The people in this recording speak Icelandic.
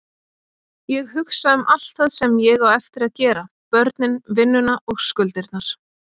Ég hugsa um allt það sem ég á eftir að gera, börnin, vinnuna og skuldirnar.